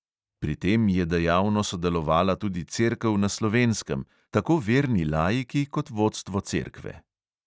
Pri tem je dejavno sodelovala tudi cerkev na slovenskem, tako verni laiki kot vodstvo cerkve.